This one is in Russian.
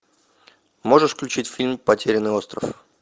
можешь включить фильм потерянный остров